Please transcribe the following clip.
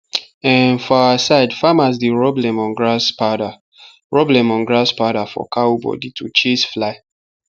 um for our side farmers dey rub lemongrass powder rub lemongrass powder for cow body to chase fly